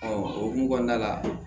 o hukumu kɔnɔna la